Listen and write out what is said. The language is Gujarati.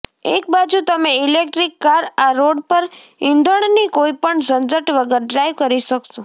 એકબાજુ તમે ઇલેક્ટ્રિક કાર આ રોડ પર ઈંધણની કોઈપણ ઝંઝટ વગર ડ્રાઇવ કરી શકશો